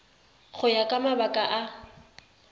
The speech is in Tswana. go ya ka mabaka a